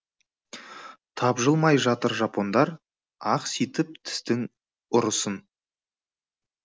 тапжылмай жатыр жапондар ақситып тістің ұрысын